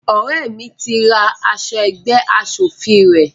Ọrẹ mí tí ra aṣọ ẹgbẹ́ aṣòfin rẹ